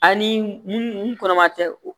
Ani mun kɔnɔma tɛ o